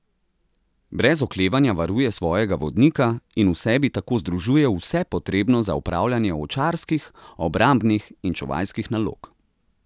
Brez oklevanja varuje svojega vodnika in v sebi tako združuje vse potrebno za opravljanje ovčarskih, obrambnih in čuvajskih nalog.